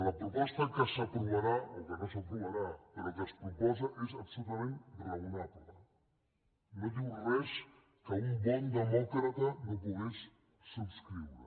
la proposta que s’aprovarà o que no s’aprovarà però que es proposa és absolutament raonable no diu res que un bon demòcrata no pogués subscriure